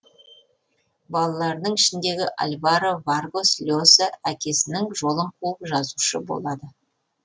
балаларының ішіндегі альваро варгос льоса әкесінің жолын қуып жазушы болады